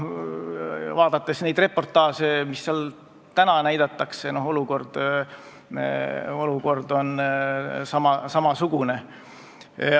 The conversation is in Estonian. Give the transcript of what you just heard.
Vaadates neid reportaaže, mida sealt nüüd näidatakse, võin öelda, et olukord on samasugune.